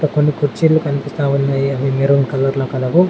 కొన్ని కుర్చీలు కనిపిస్తా ఉన్నాయి అవి మెరూన్ కలర్ కలవు.